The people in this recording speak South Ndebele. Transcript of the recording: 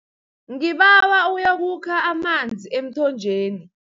Ngibawa uyokukha amanzi emthonjeni.